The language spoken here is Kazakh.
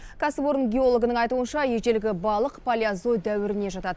кәсіпорын геологының айтуынша ежелгі балық палеозой дәуіріне жатады